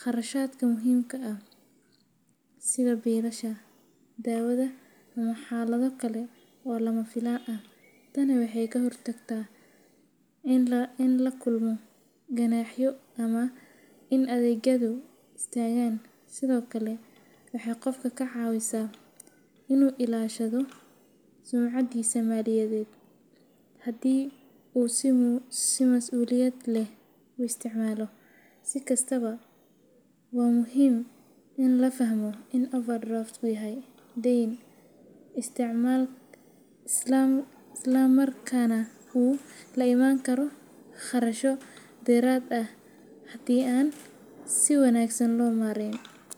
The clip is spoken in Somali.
kharashaadka muhiimka ah sida biilasha, daawada, ama xaalado kale oo lama filaan ah. Tani waxay ka hortagtaa in la kulmo ganaaxyo ama in adeegyadu istaagaan. Sidoo kale, waxay qofka ka caawisaa inuu ilaashado sumcaddiisa maaliyadeed, haddii uu si masuuliyad leh u isticmaalo. Si kastaba, waa muhiim in la fahmo in overdraft-ku yahay dayn, islamarkaana uu la imaan karo kharashyo dheeraad ah haddii aan si wanaagsan loo maareyn.